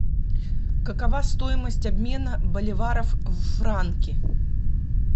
какова стоимость обмена боливаров в франки